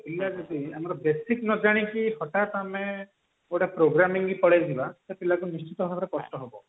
ପିଲା ଯଦି ଆମର basic ନଜାଣି କି ହଠାତ ଆମେ ଗୋଟେ programming କି ପଳେଇଯିବା ପିଲକୁ ନିଶ୍ଚିନ୍ତ ଭାବରେ କଷ୍ଟ ହେବ